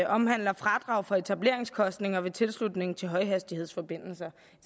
omhandler fradrag for etableringsomkostninger ved tilslutning til højhastighedsforbindelser